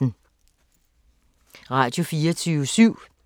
Radio24syv